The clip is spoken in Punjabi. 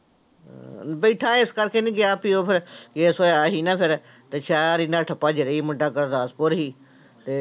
ਬੈਠਾ ਇਸ ਕਰਕੇ ਨੀ ਗਿਆ ਪਿਉ ਫਿਰ ਹੋਇਆ ਸੀ ਨਾ ਫਿਰ ਤੇ ਸ਼ਹਿਰ ਇੰਨਾ ਠੱਪਾ ਜਦੀ ਮੁੰਡਾ ਗੁਰਦਾਸਪੁਰ ਸੀ ਤੇ